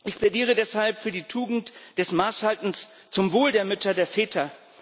Ich plädiere deshalb für die Tugend des Maßhaltens zum Wohl der Mütter und der Väter.